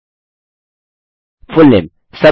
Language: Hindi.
मैं इसके बाद टेस्ट और इसके बाद टेस्ट टाइप करूँगा